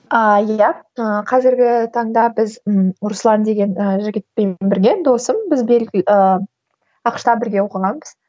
ааа иә ыыы қазіргі таңда біз ы руслан деген ыыы жігітпен бірге досым біз ыыы ақш та бірге оқығанбыз